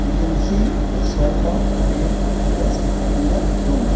we can see a sofa a desk in the room.